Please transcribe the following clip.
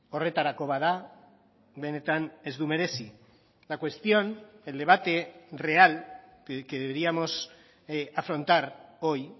horretarako bada benetan ez du merezi la cuestión el debate real que deberíamos afrontar hoy y